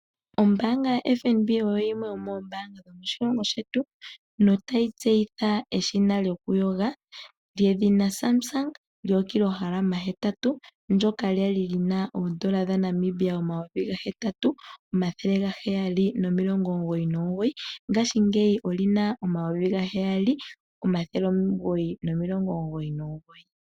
Ombaanga yaFNB oyo yimwe yomoombanga dhomoshilongo shetu. Notayi tseyitha eshina lyokuyoga lyedhina Samsung lyookilohalama hetatu ndyoka lya li li na oodola dhaNamibia omayovi gahetatu omathele gaheyali nomilongo omugoyi nomugoyi, ngaashingeyi oli na omayovi gaheyali omathele omugoyi nomilongo omugoyi nomugoyi.